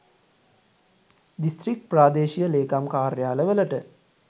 district ප්‍රාදේශීය ලේකම් කාර්යාල වලට